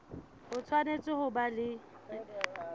o tshwanetse ho ba le